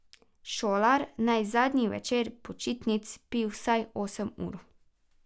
Šolar naj zadnji večer počitnic spi vsaj osem ur.